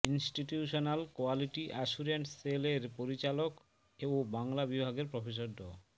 institutional quality assurance cell এর পরিচালক ও বাংলা বিভাগের প্রফেসর ড